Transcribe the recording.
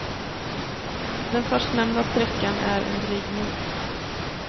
Den förstnämnda sträckan är en dryg mil.